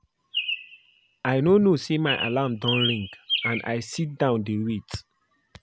I no know say my alarm don ring and I sit down dey wait